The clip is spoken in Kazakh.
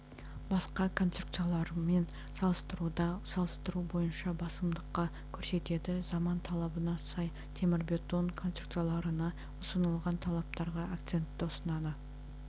басқа конструкцияларымен салыстыруда салыстыру бойынша басымдыққа көрсетеді заман талабына сай темірбетон конструкцияларына ұсынылатын талаптарға акцентті ұсынады